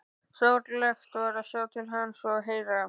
Sorglegt var að sjá til hans og heyra.